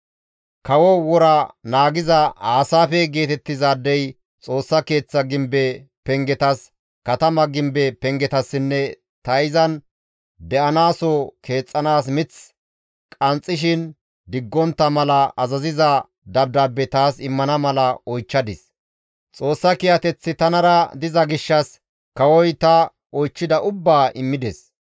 Kawo wora naagiza Aasaafe geetettizaadey Xoossa Keeththa gimbe pengetas, katama gimbe pengetassinne ta izan de7anaaso keexxanaas mith qanxxishin diggontta mala azaziza dabdaabbe taas immana mala oychchadis; Xoossa kiyateththi tanara diza gishshas kawoza ta oychchida ubbaa immides.